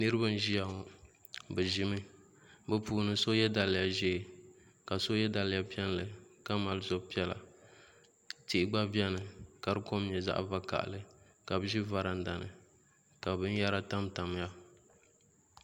Niriba n ʒia ŋɔ bɛ ʒimi bɛ puuni so ye daliya ʒee ka so ye daliya piɛlli ka mali zab'piɛlla tihi gba biɛni ka di kom nyɛ zaɣa vakahali ka bɛ ʒi varanda ni ka binyɛra tam tamya.